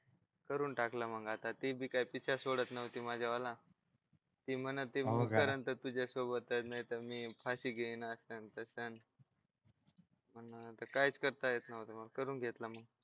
करून टाकलं मग आता ते बी काही पिच्छा सोडत नव्हती माझ्या वाला ती म्हणत होती मी करेल तर तुझ्यासोबतच मी फाशी येईल असं आता मग काहीच करता येत नव्हतं मग करून घेतलं मी